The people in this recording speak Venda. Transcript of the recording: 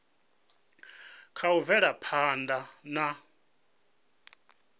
kha u bvela phanda na